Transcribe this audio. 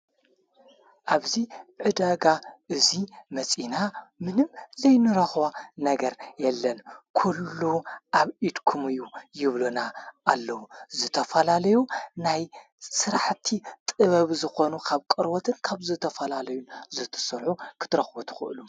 ኣብዙይ ዕደጋ እዙይ መጺእና ምንም ዘይንረኽዋ ነገር የለን ኲሉ ኣብ ኢድኩም እዩ ይብሉና ኣለዉ ዝተፈላለዩ ናይ ሠራሕቲ ጥበብ ዝኾኑ ኻብ ቀርወትን ካብ ዘተፈላለዩ ዘትስርሑ ክትረኽቡ ትኽእሉ።